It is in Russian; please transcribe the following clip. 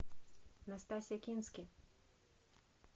настасья кински